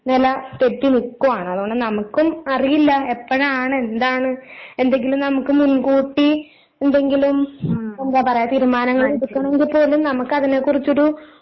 നെല തെറ്റി നിക്കുവാണ്. അതുകൊണ്ട് നമുക്കും അറിയില്ല എപ്പഴാണെന്താണ് എന്തെങ്കിലും നമുക്ക് മുൻകൂട്ടി എന്തെങ്കിലും എന്താ പറയാ തീരുമാനങ്ങളെടുക്കണെങ്കിപ്പോലും നമുക്കതിനെക്കുറിച്ചൊരു